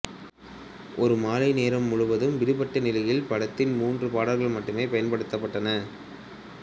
ஒரு மாலை நேரம் முழுவதுமாக விடுபட்ட நிலையில் படத்தில் மூன்று பாடல்கள் மட்டுமே பயன்படுத்தப்பட்டன